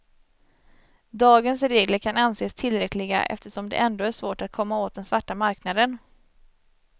Dagens regler kan anses tillräckliga eftersom det ändå är svårt att komma åt den svarta marknaden.